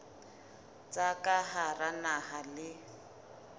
tsa ka hara naha le